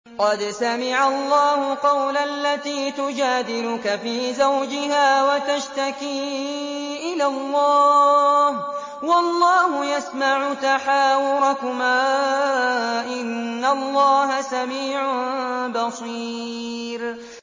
قَدْ سَمِعَ اللَّهُ قَوْلَ الَّتِي تُجَادِلُكَ فِي زَوْجِهَا وَتَشْتَكِي إِلَى اللَّهِ وَاللَّهُ يَسْمَعُ تَحَاوُرَكُمَا ۚ إِنَّ اللَّهَ سَمِيعٌ بَصِيرٌ